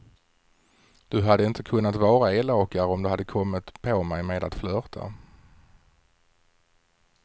Du hade inte kunnat vara elakare om du hade kommit på mig med att flörta.